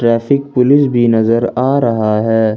Traffic police भी नजर आ रहा है।